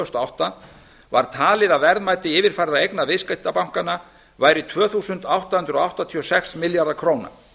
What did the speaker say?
þúsund og átta var talið að verðmæti yfirfærðra verðmæta viðskiptabankanna væri tvö þúsund átta hundruð áttatíu og sex milljarðar króna